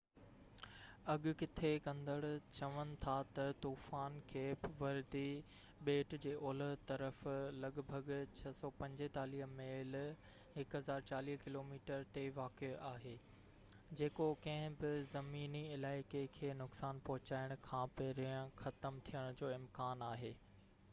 اڳڪٿي ڪندڙ چون ٿا تہ طوفان ڪيپ وردي ٻيٽ جي اولهہ طرف لڳ ڀڳ 645 ميل 1040 ڪلو ميٽر تي واقع آهي، جيڪو ڪنهن بہ زميني علائقي کي نقصان پهچائڻ کان پهرين ختم ٿيڻ جو امڪان آهي